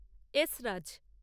esraj